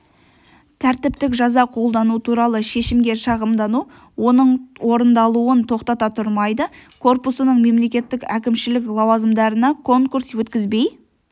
тәртіптік жаза қолдану туралы шешімге шағымдану оның орындалуын тоқтата тұрмайды корпусының мемлекеттік әкімшілік лауазымдарына конкурс өткізбей